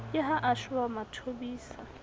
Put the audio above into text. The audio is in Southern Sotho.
ke ha a shoba mathobisa